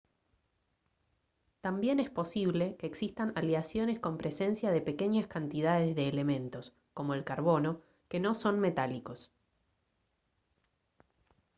también es posible que existan aleaciones con presencia de pequeñas cantidades de elementos como el carbono que no son metálicos